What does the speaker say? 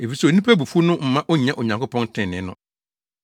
efisɛ onipa abufuw no mma onnya Onyankopɔn trenee no.